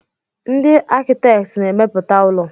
Ndị akitẹkti na-emepụta ụlọ.